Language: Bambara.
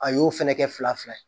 A y'o fɛnɛ kɛ fila fila ye